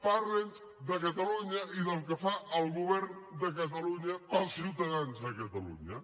parli’ns de catalunya i del que fa el govern de catalunya pels ciutadans de catalunya